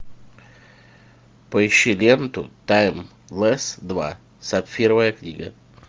поищи ленту таймлесс два сапфировая книга